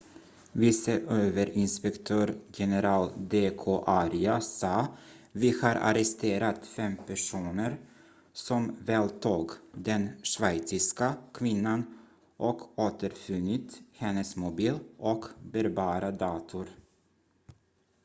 "vice överinspektör general d k arya sa: "vi har arresterat fem personer som våldtog den schweiziska kvinnan och återfunnit hennes mobil och bärbara dator.""